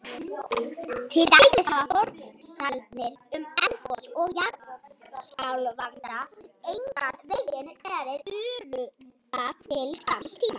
Til dæmis hafa forsagnir um eldgos og jarðskjálfta engan veginn verið öruggar til skamms tíma.